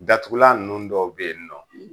Datugula nunnu dɔw be yen nɔ